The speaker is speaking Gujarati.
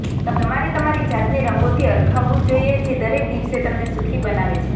તમારે તમારી જાતને રંગોથી હરખાવવું જોઈએ જે દરેક દિવસ તમને સુખી બનાવે છે